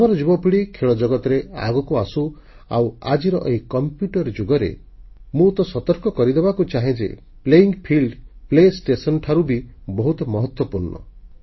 ଆମର ଯୁବପିଢ଼ି ଖେଳ ଜଗତରେ ଆଗକୁ ଆସୁ ଆଉ ଆଜିର ଏଇ କମ୍ପ୍ୟୁଟର ଯୁଗରେ ମୁଁ ତ ସତର୍କ କରିଦେବାକୁ ଚାହେଁ ଯେ ପ୍ଲେୟିଂ ଫିଲ୍ଡ ଖେଳ ପଡିଆ ପ୍ଲେ ଷ୍ଟେସନ୍ ଭିଡ଼ିଓ ଗେମ ଠାରୁ ବି ବହୁତ ମହତ୍ୱପୂର୍ଣ୍ଣ